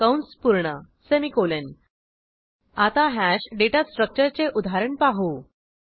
कंस पूर्ण सेमिकोलॉन आता हॅश डेटा स्ट्रक्चरचे उदाहरण पाहू